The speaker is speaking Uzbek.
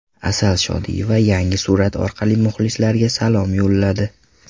Asal Shodiyeva yangi surat orqali muxlislariga salom yo‘lladi.